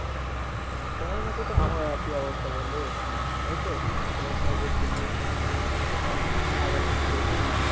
তোমার মতো তো আমারও একই অবস্থা বন্ধু এই তো পড়াশোনা করতেসি এখন সামনে আগাচ্ছি দেখি।